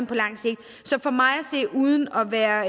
på lang sigt så uden at være